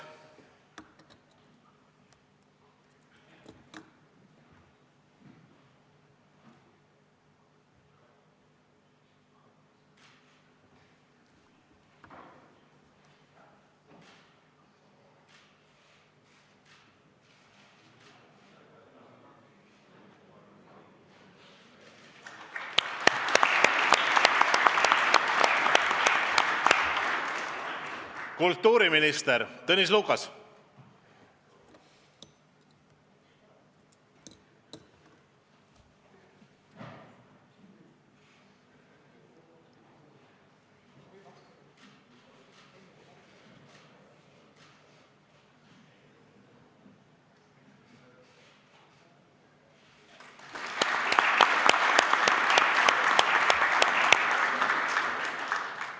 Kultuuriminister Tõnis Lukas.